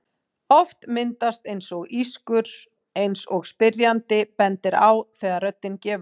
Oft myndast eins konar ískur eins og spyrjandi bendir á þegar röddin gefur sig.